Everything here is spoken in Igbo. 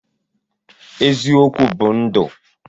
Eziokwu bu ndu.